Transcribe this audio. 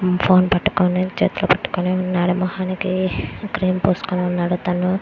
చేతిలో పట్టుకొని ఉన్నాడు. ముఖానికి క్రీం పూసుకొని ఉన్నాడు.